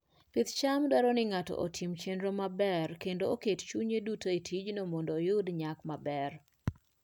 Pidh cham dwaro ni ng'ato otim chenro maber kendo oket pache duto e tijno mondo oyud nyak maber.